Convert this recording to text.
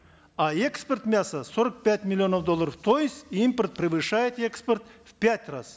а экспорт мяса сорок пять миллионов долларов то есть импорт превышает экспорт в пять раз